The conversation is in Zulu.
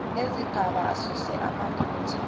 nezigaba asuse amaphutha